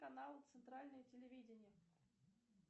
канал центральное телевидение